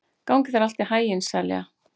Gangi þér allt í haginn, Selja.